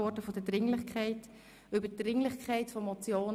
Gemäss Artikel 74 Absatz 2